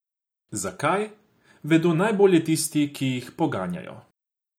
Zakaj, vedo najbolje tisti, ki jih poganjajo.